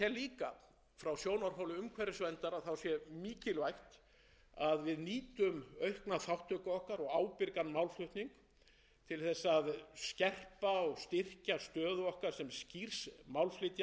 keppt um þau tækifæri sem verða til í kjölfar aukinna efnahagsumsvifa á þessu svæði ég tel líka að frá sjónarhóli umhverfisverndar sé mikilvægt að